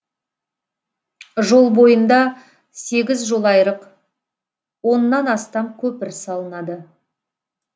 жол бойында сегіз жолайрық оннан астам көпір салынады